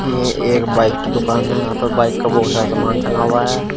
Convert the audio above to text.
ये एक बाइक की दुकान है। यहां पर बाइक का बोहोत सारा समान टंगा हुआ है।